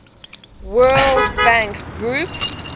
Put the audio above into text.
world bank group